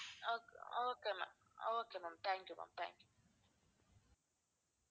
okay okay ma'am okay ma'am thank you ma'am thank you bye